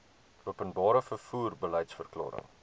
openbare vervoer beliedsverklaring